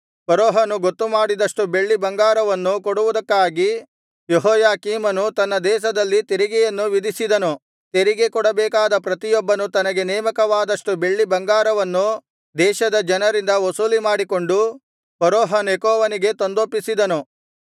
ಫರೋಹನು ಗೊತ್ತುಮಾಡಿದಷ್ಟು ಬೆಳ್ಳಿ ಬಂಗಾರವನ್ನು ಕೊಡುವುದಕ್ಕಾಗಿ ಯೆಹೋಯಾಕೀಮನು ತನ್ನ ದೇಶದಲ್ಲಿ ತೆರಿಗೆಯನ್ನು ವಿಧಿಸಿದನು ತೆರಿಗೆಕೊಡಬೇಕಾದ ಪ್ರತಿಯೊಬ್ಬನು ತನಗೆ ನೇಮಕವಾದಷ್ಟು ಬೆಳ್ಳಿ ಬಂಗಾರವನ್ನು ದೇಶದ ಜನರಿಂದ ವಸೂಲಿಮಾಡಿಕೊಂಡು ಫರೋಹ ನೆಕೋವನಿಗೆ ತಂದೊಪ್ಪಿಸಿದನು